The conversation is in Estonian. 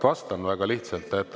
Vastan väga lihtsalt.